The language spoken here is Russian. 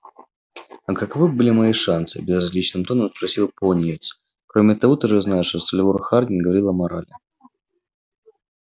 а каковы были мои шансы безразличным тоном спросил пониетс кроме того ты же знаешь что сальвор хардин говорил о морали